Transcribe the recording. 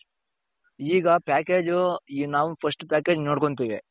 ಈಗ package ನಾವು first package ನೋಡ್ಕೊಂತೀವಿ.